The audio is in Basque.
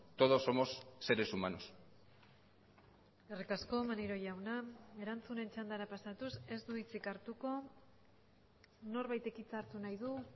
todos somos seres humanos eskerrik asko maneiro jauna erantzunen txandara pasatuz ez du hitzik hartuko norbaitek hitza hartu nahi du